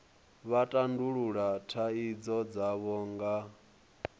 vha tandulula thaidzo dzavho nga